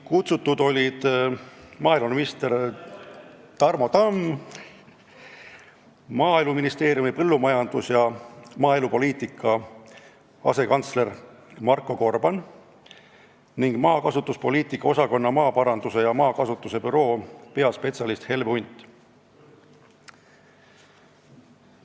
Kutsutud olid maaeluminister Tarmo Tamm, Maaeluministeeriumi põllumajandus- ja maaelupoliitika asekantsler Marko Gorban ning maakasutuspoliitika osakonna maaparanduse ja maakasutuse büroo peaspetsialist Helve Hunt.